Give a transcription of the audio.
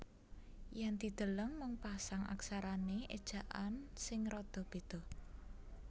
Yen dideleng mung pasang aksarane ejaan sing rada beda